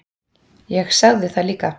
Ég sagði það líka.